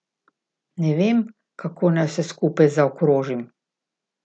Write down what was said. Ne vem, kako naj vse skupaj zaokrožim.